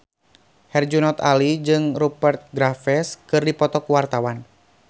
Herjunot Ali jeung Rupert Graves keur dipoto ku wartawan